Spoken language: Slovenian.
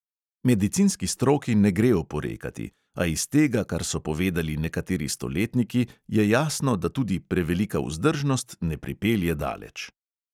Medicinski stroki ne gre oporekati, a iz tega, kar so povedali nekateri stoletniki, je jasno, da tudi prevelika vzdržnost ne pripelje daleč.